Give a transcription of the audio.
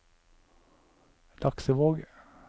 Laksevåg